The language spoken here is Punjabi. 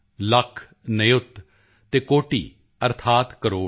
ਲੱਖ ਨਿਯੁਤ ਅਤੇ ਕੋਟਿ ਅਰਥਾਤ ਕਰੋੜ